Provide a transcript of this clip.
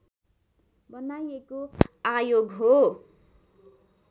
बनाइएको आयोग हो